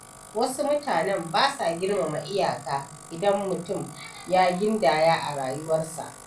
Wasu mutanen ba sa girmama iyaka idan mutum ya gindaya a rayuwarsa.